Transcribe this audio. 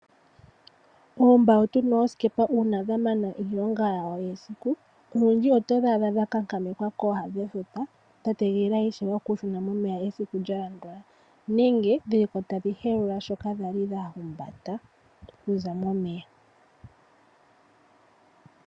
Oombawutu noosikepa uuna dhamana iilonga yadho yesiku olundji itodhi adha dhakankamekwa kooha dhefuta dhategelela ishewe okushuna momeya esiku lyalandula, nenge dhili ko tadhi helula shoka dhali dhahumbata okuza momeya.